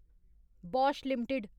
Bosch limited